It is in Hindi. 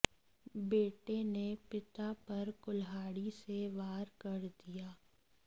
बेटे ने पिता पर कुल्हाड़ी से वार कर दिया